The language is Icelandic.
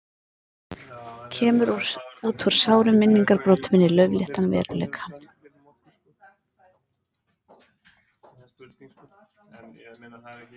Kemur út úr sárum minningabrotum inn í laufléttan veruleikann.